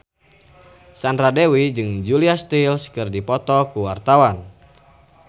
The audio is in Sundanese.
Sandra Dewi jeung Julia Stiles keur dipoto ku wartawan